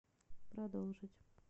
продолжить